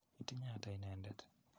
Itinye ata inendet?